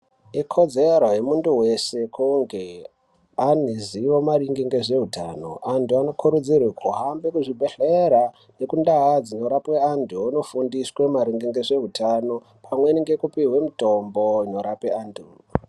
Ikodzero yemuntu weshe kunge aneruziwo nezveutano antu anokurudzirwe kuhambe kuzvibhedhlere nekundau dzinorapwe antu vanofundiswe maringe nezveutano pamweni nekupihwe mutombo inorape antu.